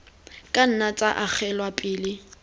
ka nna tsa agelwa pele